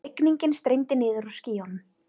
Rigningin streymdi niður úr skýjunum.